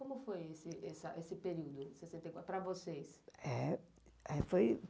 E como foi esse período, de sessenta e quatro, para vocês?